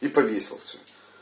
и повесился